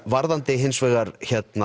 varðandi hins vegar